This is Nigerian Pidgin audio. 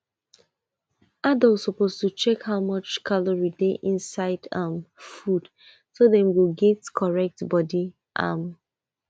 adult suppose to check how much calorie dey inside um food so dem go get correct body um